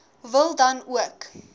wil dan ook